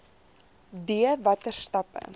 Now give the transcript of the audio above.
d watter stappe